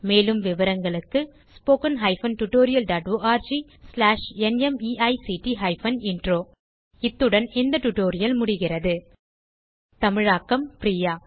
மேலும் விவரங்களுக்கு 1 இத்துடன் இந்த டியூட்டோரியல் முடிகிறது தமிழாக்கம் பிரியா